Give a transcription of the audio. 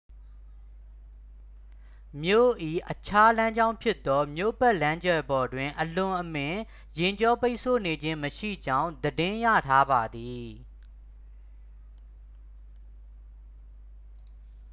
မြို့၏အခြားလမ်းကြောင်းဖြစ်သော မြို့ပတ်လမ်းကျယ်ပေါ်တွင် အလွန်အမင်းယာဉ်ကြောပိတ်ဆို့နေခြင်းမရှိကြောင်း သတင်းရထားပါသည်